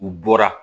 U bɔra